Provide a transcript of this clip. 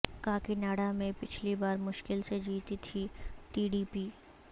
کاکناڈا میں پچھلی بار مشکل سے جیتی تھی ٹی ڈی پی